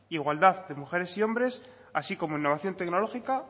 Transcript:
igualdad entre mujeres y hombres así como innovación tecnológica